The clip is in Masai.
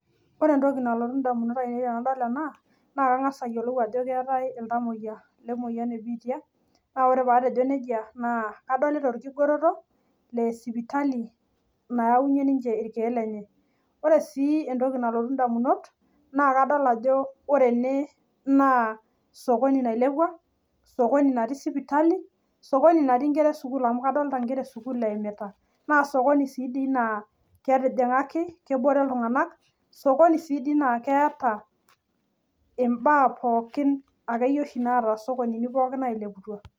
Ore entoki nalotu ndamunot ainei tenadol ena pisha naa kangas ayiolou ajo keetae iltomoyia lemoyian e biitia naa ore pee atejo nejia naa kadolita orgigeroto Le sipitali , ore sii enkae toki naa kadol ajo ore ene naa sokoni nailepua netii sipitali netii sii nkera e sukuul naa sokoni sii natijingaki kebore iltunganak naa keeta imbaa pookin